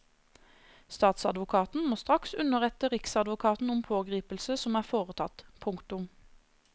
Statsadvokaten må straks underrette riksadvokaten om pågripelse som er foretatt. punktum